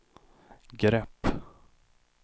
grepp